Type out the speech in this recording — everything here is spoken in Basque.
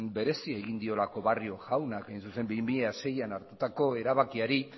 berezia egin diolako barrio jaunak hain zuzen bi mila seian hartutako erabakiari